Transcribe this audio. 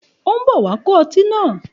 Ó ń bọ̀ wá kó ọtí náà.